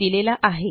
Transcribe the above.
यांनी दिलेला आहे